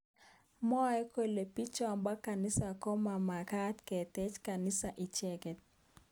Mwaat kele bichotok bo kanisa komomakat kotech kaniset icheke.